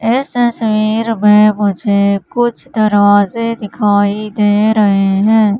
इस तस्वीर में मुझे कुछ दरवाजे दिखाई दे रहे हैं।